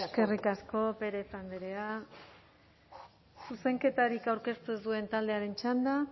eskerrik asko pérez andrea zuzenketarik aurkeztu ez duen taldearen txanda